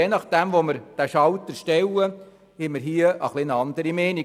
Je nachdem, wie wir den Schalter umlegen, haben wir eine andere Meinung.